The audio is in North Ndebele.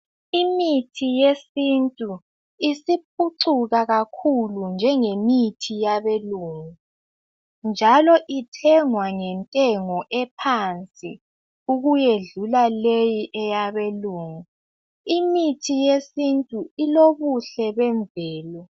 Imithi yesintu isiphucuka kakhulu njenge mithi yabelungu njalo ithengwa ngentengo ephansi ukuyedlula leyi eyabelungu imithi yesintu ilobuhle bemvelo